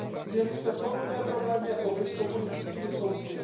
Měli jsme podobné problémy jako vy s komunistickými soudci.